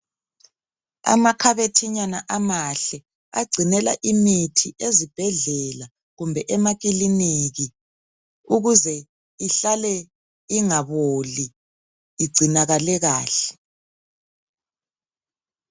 amakhabothinyana amahle agcinela imithi ezibhedlela kumbe emakiliniki ukuze ihlale ingaboli igcinakale kahle